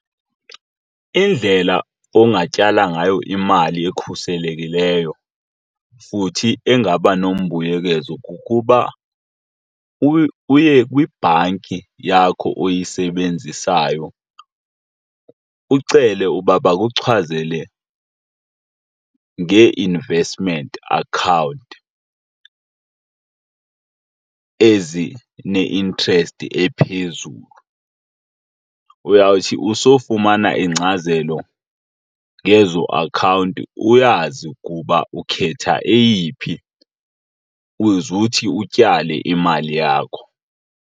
Indlela ongayityala ngayo imali ekhuselekileyo futhi engaba nombuyekezo kukuba uye kwibhanki yakho oyisebenzisayo ucele uba bakuchazele ngee-investment account ezine-interest ephezulu. Uyawuthi usowufumana ingcazelo ngezo akhawunti uyazi ukuba ukhetha eyiphi uze uthi utyale imali yakho.